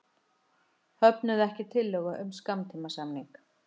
Höfnuðu ekki tillögu um skammtímasamning